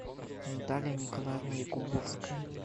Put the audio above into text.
наталья николаевна якубовская